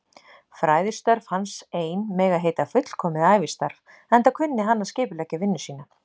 Fræðistörf hans ein mega heita fullkomið ævistarf, enda kunni hann að skipuleggja vinnu sína.